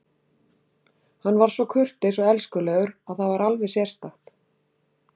Hann var svo kurteis og elskulegur að það var alveg sérstakt.